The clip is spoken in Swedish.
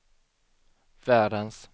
världens